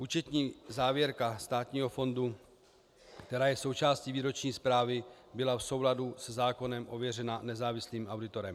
Účetní závěrka státního fondu, která je součástí výroční zprávy, byla v souladu se zákonem ověřena nezávislým auditorem.